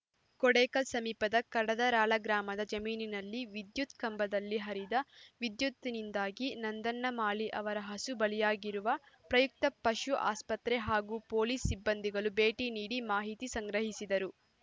ಕೊಡೇಕಲ್‌ ಸಮೀಪದ ಕಡದರಾಳ ಗ್ರಾಮದ ಜಮೀನಿನಲ್ಲಿ ವಿದ್ಯುತ್‌ ಕಂಬದಲ್ಲಿ ಹರಿದ ವಿದ್ಯುತ್‌ನಿಂದಾಗಿ ನಂದಣ್ಣ ಮಾಳಿ ಅವರ ಹಸು ಬಲಿಯಾಗಿರುವ ಪ್ರಯುಕ್ತ ಪಶು ಆಸ್ಪತ್ರೆ ಹಾಗೂ ಪೊಲೀಸ್‌ ಸಿಬ್ಬಂದಿಗಳು ಭೇಟಿ ನೀಡಿ ಮಾಹಿತಿ ಸಂಗ್ರಹಿಸಿದರು